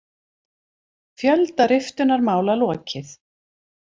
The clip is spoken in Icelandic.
Fjölda riftunarmála lokið